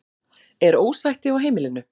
Er ósætti á heimilinu?